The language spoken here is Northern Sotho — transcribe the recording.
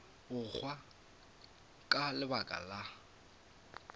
go hwa ka lebaka la